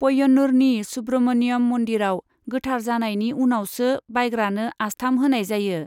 पय्यन्नूरनि सुब्रमण्यम मन्दिरआव गोथार जानायनि उनावसो बायग्रानो आस्थाम होनाय जायो।